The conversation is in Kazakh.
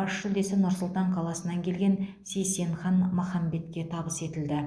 бас жүлдесі нұр сұлтан қаласынан келген сейсенхан махамбетке табыс етілді